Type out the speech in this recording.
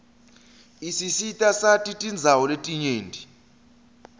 isisitasati tindawo letinyenti